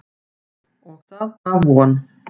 Og það gaf von.